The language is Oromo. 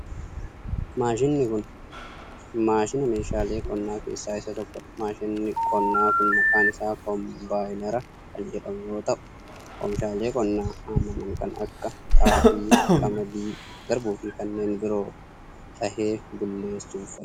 Maashiniin kun, maashina meeshaalee qonnaa keessaa isa tokko dha. Maashinni qonnaa kun maqaan isaa kompaayinara kan jedhamu yoo tau, oomishaalee qonnaa hammaaman kan akka :xaafii, qamadii garbuu fi kanneen biroo dhahee bulleessuuf fayyada.